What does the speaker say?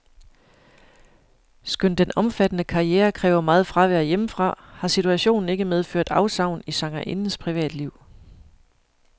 Skønt den omfattende karriere kræver meget fravær hjemmefra, har situationen ikke medført afsavn i sangerindens privatliv.